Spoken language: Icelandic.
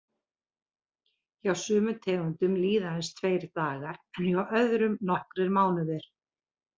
Hjá sumum tegundum líða aðeins tveir dagar en hjá öðrum nokkrir mánuðir.